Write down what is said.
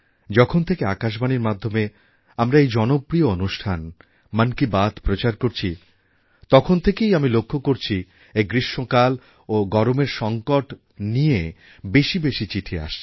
যখন থেকে আকাশবাণীর মাধ্যমে আমরা এই জনপ্রিয় অনুষ্ঠান মন কি বাত প্রচার করছি তখন থেকেই আমি লক্ষ্য করছি এই গ্রীষ্মকাল ও গরমের সংকট নিয়ে বেশি বেশি চিঠি আসছে